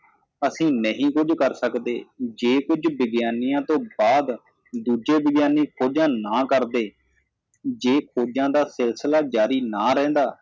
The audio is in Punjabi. ਅਸੀ ਨਹੀ ਕੁੱਝ ਕਰ ਸਕਦੇ ਜੇ ਕੁਝ ਵਿਗਿਆਨੀਆਂ ਤੋ ਬਾਅਦ ਦੂਜੇ ਵਿਗਿਆਨੀ ਖੋਜਾਂ ਨਾ ਕਰਦੇ ਜੇ ਖੋਜਾਂ ਦਾ ਸਿਲਸਿਲਾ ਜਾਰੀ ਨਾ ਰਹਿੰਦਾ